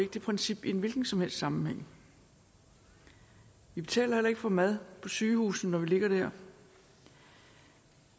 det princip i en hvilken som helst sammenhæng vi betaler heller ikke for mad på sygehusene når vi ligger der